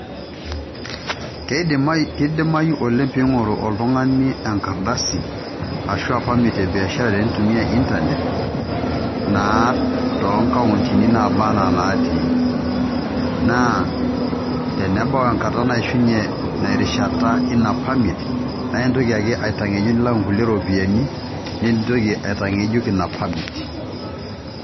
Keidimayu oleng peing'oru oltung'ani enkardasi ashuu permit e biasharacs teneitumia internet naa toonkauntini nabaanaa inaatii naa tenebau enkata naishunye erishata eina permit naa intoki aka aitang'ejuk nilak inkulie ropiyiani nintoki aitan'ejuk ina permit.